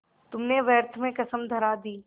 तुमने व्यर्थ में कसम धरा दी